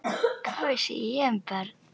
Hvað vissi ég um börn?